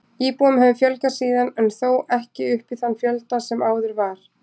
Íbúum hefur fjölgað síðan en þó ekki upp í þann fjölda sem áður var.